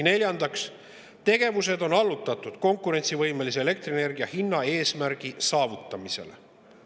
Neljandaks, tegevused on allutatud elektrienergia konkurentsivõimelise hinna saavutamisele.